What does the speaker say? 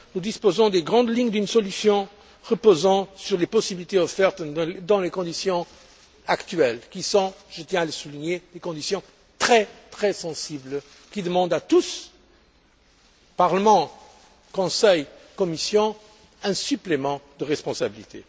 Nous disposons des grandes lignes d'une solution reposant sur les possibilités offertes dans les conditions actuelles qui sont je tiens à le souligner des conditions très, très sensibles, qui demandent à tous Parlement, Conseil, Commission un supplément de responsabilité.